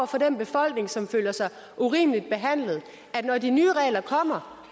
for den befolkning som føler sig urimeligt behandlet at når de nye regler kommer